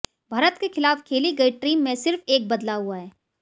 भारत के खिलाफ खेली गई टीम में सिर्फ एक बदलाव हुआ है